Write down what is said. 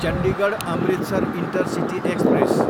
Chandigarh, Amritsar intercity express